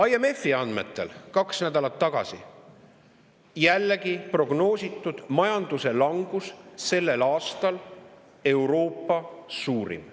IMF‑i andmetel jällegi prognoositi kaks nädalat tagasi, et majanduse langus sellel aastal Euroopa suurim.